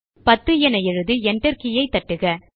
10 என எழுதி enter key ஐ தட்டுக